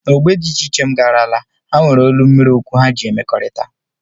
N'ógbè dị iche iche, m garala, ha nwere olu mmiri okwu ha ji emekọrịta